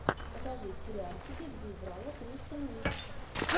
покажи сериальчики где играла кристен уиг